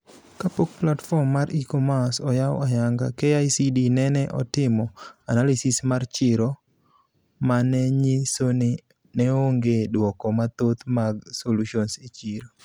Ka pok platform mar e-commerce oyaw ayanga, KICD nene otimo analysis mar chiro manenyisoni neonge duoko mathoth mag solutions e chiro.